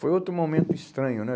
Foi outro momento estranho, né?